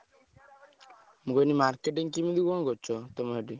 ମୁଁ କହିଲି marketing କେମିତି କଣ କରୁଛ ତମ ସେଠି?